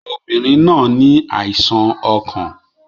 Obìnrin náà ní àìsàn ọkàn